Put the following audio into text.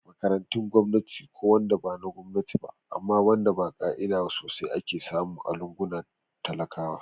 Makarantun gwamnati ko wanda bana Gwamnati ba amma wanda ba ka'ida sosai ake samu a lungunan talakawa